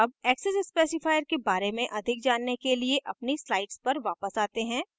अब access specifiers के बारे में अधिक जानने के लिए अपनी slides पर वापस आते हैं